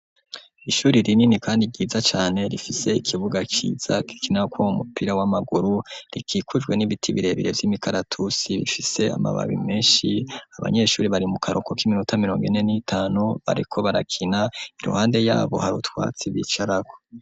Ishuri rinini kandi ryiza cane rifise ikibuga ciza gikinirwako mupira w'amaguru rikikujwe n'ibiti birebere vy'imikaratusi bifise amababi meshi abanyeshuri bari mu karuhuko k'iminota mirongo ine n'itanu bariko barakina iruhande yabo hari utwatsi bicarako.